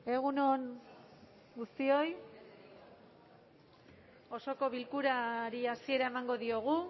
egun on guztioi osoko bilkurari hasiera emango diogu